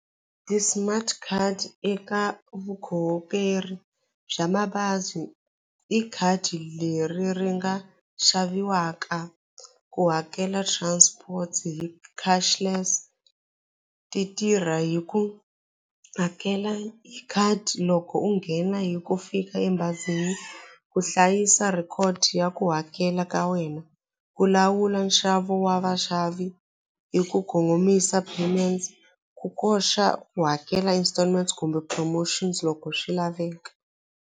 Ti-smart card eka bya mabazi i khadi leri ri nga xaviwaka ku hakela transport hi cashless ti tirha hi ku hakela hi khadi loko u nghena hi ku fika ebazini ku hlayisa record ya ku hakela ka wena ku lawula nxavo wa vaxavi i ku kongomisa payment ku koxa ku hakela installments kumbe promotion loko swi laveka.